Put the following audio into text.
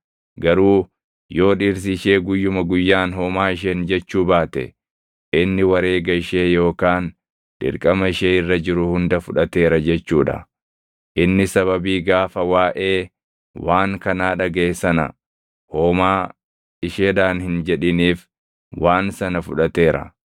Garuu yoo dhirsi ishee guyyuma guyyaan homaa isheen jechuu baate, inni wareega ishee yookaan dirqama ishee irra jiru hunda fudhateera jechuu dha. Inni sababii gaafa waaʼee waan kanaa dhagaʼe sana homaa isheedhaan hin jedhiniif waan sana fudhateera.